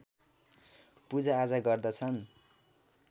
पूजाआजा गर्दछन्